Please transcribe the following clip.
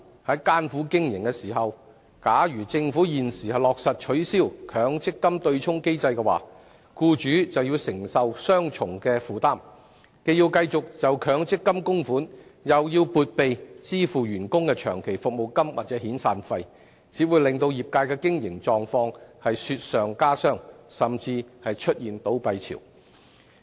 在艱苦經營之際，如政府現時落實取消強積金對沖機制，僱主便要承受雙重負擔，既要繼續向強積金供款，又要撥備支付員工的長期服務金或遣散費，只會令業界雪上加霜，甚至出現倒閉潮。